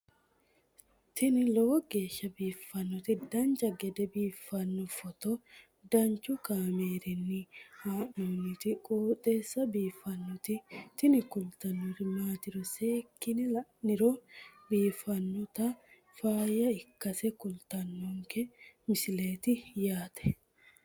tini lowo geeshsha biiffannoti dancha gede biiffanno footo danchu kaameerinni haa'noonniti qooxeessa biiffannoti tini kultannori maatiro seekkine la'niro biiffannota faayya ikkase kultannoke misileeti yaate